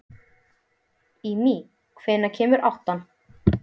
Ími, hvenær kemur áttan?